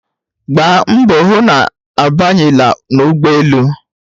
Gbaa mbọ hụ na ị Abanyela n'ụgbọelu!